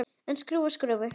En skrúfa skrúfu?